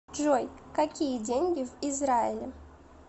джой какие деньги в израиле